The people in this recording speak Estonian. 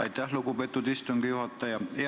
Aitäh, lugupeetud istungi juhataja!